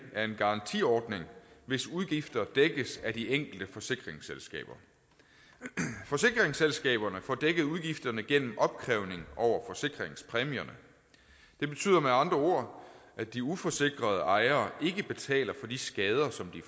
er en garantiordning hvis udgifter dækkes af de enkelte forsikringsselskaber forsikringsselskaberne får dækket udgifterne gennem opkrævning over forsikringspræmierne det betyder med andre ord at de uforsikrede ejere ikke betaler for de skader som